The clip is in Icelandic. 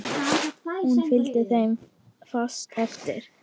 Hún fylgdi þeim fast eftir.